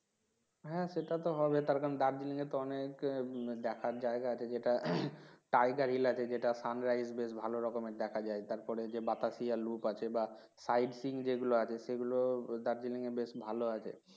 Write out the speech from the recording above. হ্যাঁ সেটা তো হবে তার কারণ Darjeeling এ তো অনেক দেখার জায়গা আছে যেটা Tiger, hill আছে যেটা sunrise বেশ ভালো রকমের দেখা যায় তারপরে যে বাতাসিয়া loop আছে বা side, seen যে গুলো আছে সেগুলো Darjeeling এ বেশ ভালো আছে